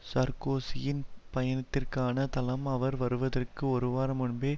சார்க்கோசியின் பயணத்திற்கான தளம் அவர் வருவதற்கு ஒருவாரம் முன்பே